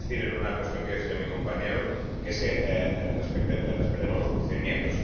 Quiero insistir en una cuestión que mencionaba mi compañero, que es que respetemos los procedimientos.